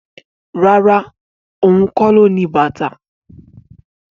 Rárá, ohun kó lo ní bàtà